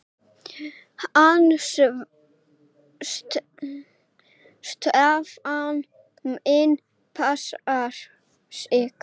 Hann Stefán minn passar sig.